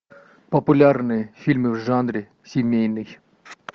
популярные фильмы в жанре семейный